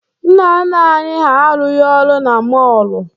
Nna nna anị ha arụghị ọrụ na mọọlụ.